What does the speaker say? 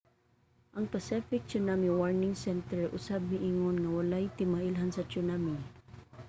ang pacific tsunami warning center usab miingon nga walay timailhan sa tsunami